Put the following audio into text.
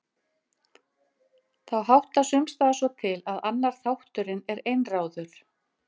Þá háttar sums staðar svo til að annar þátturinn er einráður